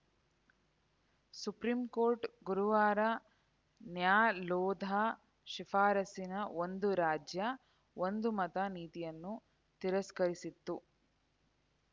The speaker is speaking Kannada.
ಸುಪ್ರೀಂಕೋರ್ಟ್‌ ಗುರುವಾರ ನ್ಯಾಲೋಧಾ ಶಿಫಾರಸಿನ ಒಂದು ರಾಜ್ಯ ಒಂದು ಮತ ನೀತಿಯನ್ನು ತಿರಸ್ಕರಿಸಿತ್ತು